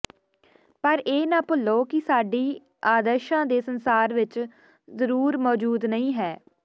ਪਰ ਇਹ ਨਾ ਭੁੱਲੋ ਕਿ ਸਾਡੀ ਆਦਰਸ਼ਾਂ ਦੇ ਸੰਸਾਰ ਵਿਚ ਜ਼ਰੂਰ ਮੌਜੂਦ ਨਹੀਂ ਹੈ